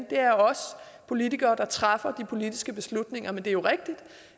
det er os politikere der træffer de politiske beslutninger men det er jo rigtigt